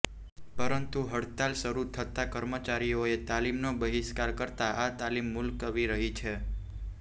પરંતુ હડતાલ શરૂ થતા કર્મચારીઓએ તાલીમનો બહિષ્કાર કરતા આ તાલીમ મુલત્વી રહી છે